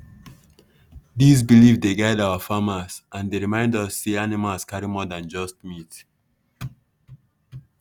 these belief dey guide our farmers and dey remind us say animals carry more than just meat.